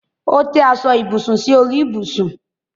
Ó tẹ́ aṣọ ibùsùn sí orí ibùsùn.